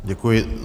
Děkuji.